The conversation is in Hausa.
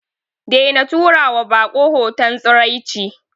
Daina tura wa bako hoton tsiraici.